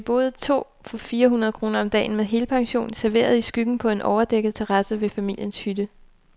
Vi boede to for fire hundrede kroner om dagen, med helpension, serveret i skyggen på en overdækket terrasse ved familiens hytte.